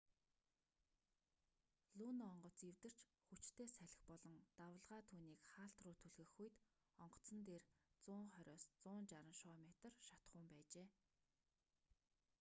луно онгоц эвдэрч хүчтэй салхи болон давалгаа түүнийг хаалт руу түлхэх үед онгоцон дээр 120-160 шоо метр шатахуун байжээ